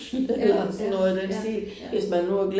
Ja ja ja ja